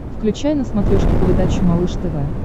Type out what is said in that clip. включай на смотрешке передачу малыш тв